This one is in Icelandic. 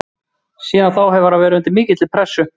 Síðan þá hefur hann verið undir mikilli pressu.